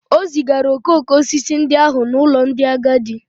O zigara okoko osisi ndị ahụ n'ụlọ ndị agadi